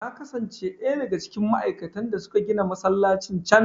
Na kasance ɗaya daga cikin ma'aikatan da suka gina masallacin can.